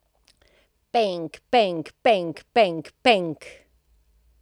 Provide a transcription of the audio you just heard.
Penk, penk, penk, penk, penk!